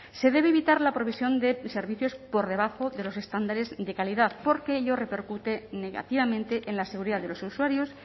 se debe evitar la provisión de servicios por debajo de los estándares de calidad porque ello repercute negativamente en la seguridad de los usuarios